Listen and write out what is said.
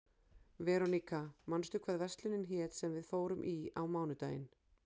Veróníka, manstu hvað verslunin hét sem við fórum í á mánudaginn?